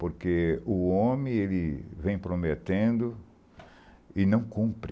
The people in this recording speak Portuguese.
Porque o homem vem prometendo e não cumpre.